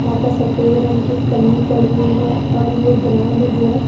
यहाँ पर एक सफेद रंग की एक पन्नी पड़ी हुई हैं और यह ग्राउंड जो है।